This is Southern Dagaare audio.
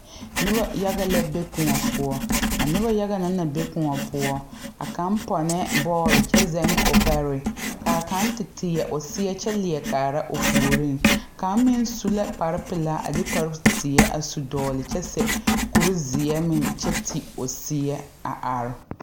Nobɔ la a pɛgle duŋɔ kaŋ ba ko la a duŋɔ ba pɛgle la o a zɛge o ko kyaare saazu nobɔ pɛgle la dabɔlɔ a dire ba fotorre.